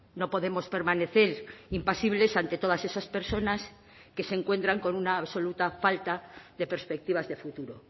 no podemos permanecer impasibles ante todas esas personas que se encuentran con una absoluta falta de perspectivas de futuro